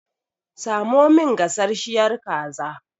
Samo min gasashiyar kaza!